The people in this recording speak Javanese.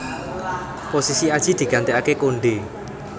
Posisi Adjie digantikaké Konde